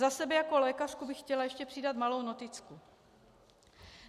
Za sebe jaké lékařku bych chtěla ještě přidat malou noticku.